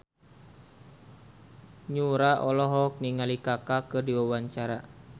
Yura olohok ningali Kaka keur diwawancara